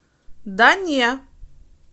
да не